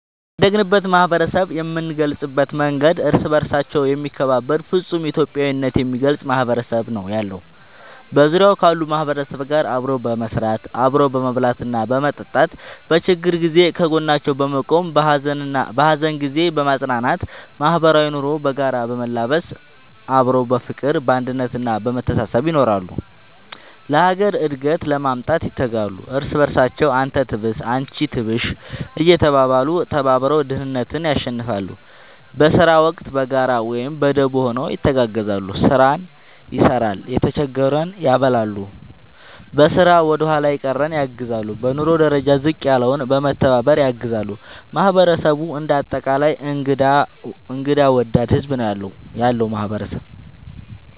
ያደግንበት ማህበረሰብ የምንገልፅበት መንገድ እርስ በርሳቸው የሚከባበሩ ፍፁም ኢትዮጵያዊነት የሚገልፅ ማህበረሰብ ነው ያለው። በዙሪያው ካሉ ማህበረሰብ ጋር አብሮ በመስራት፣ አብሮ በመብላትና በመጠጣት በችግር ጊዜ ከጎናቸው በመቆም በሀዘን ጊዜ በማፅናናት ማህበራዊ ኑሮ በጋራ በመላበስ አብሮ በፍቅር፣ በአንድነት እና በመተሳሰብ ይኖራሉ። ለሀገር እድገት ለማምጣት ይተጋሉ። እርስ በርሳቸው አንተ ትብስ አንቺ ትብሽ እየተባባሉ ተባብረው ድህነትን ያሸንፍለ። በስራ ወቅት በጋራ ወይም በደቦ ሆነው ይተጋገዛሉ ስራን ይሰራል የተጀገረን ያበላሉ፣ በስራ ወደኋላ የቀረን ያግዛሉ፣ በኑሮ ደረጃ ዝቅ ያለውን በመተባባር ያግዛሉ ማህበረሰቡ እንደ አጠቃላይ እንግዳ ወዳድ ህዝብ ነው ያለው ማህበረሰብ ።…ተጨማሪ ይመልከቱ